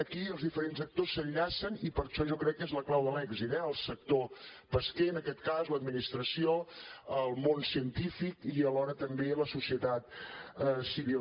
aquí els diferents actors s’enllacen i per això jo crec que és la clau de l’èxit el sector pesquer en aquest cas l’administració el món científic i alhora també la societat civil